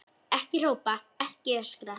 Ekki hrópa, ekki öskra!